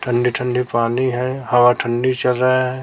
ठंडी ठंडी पानी है हवा ठंडी चल रहा है।